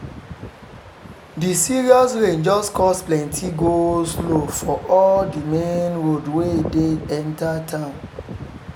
the serious rain just cause plenty go-slow for all the main road wey dey enter town